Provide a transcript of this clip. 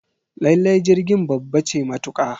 Lallai jirgin babba ce matuka